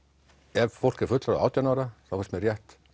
ef fólk er fullorðið átján ára þá finnst mér rétt